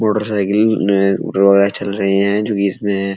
motorcycle में चल रही है जो कि इसमें --